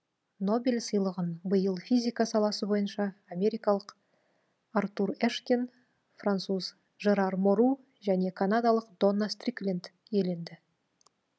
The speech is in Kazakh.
нобель сыйлығын биыл физика саласы бойынша америкалық артур эшкин француз жерар мору және канадалық донна стрикленд иеленді